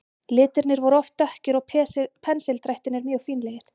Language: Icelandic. Litirnir voru oft dökkir og pensildrættirnir mjög fínlegir.